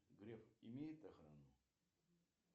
греф имеет охрану